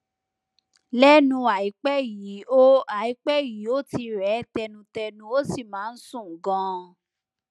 lẹnu àìpẹ yìí ó àìpẹ yìí ó ti rẹ ẹ tẹnutẹnu ó sì máa ń sùn ganan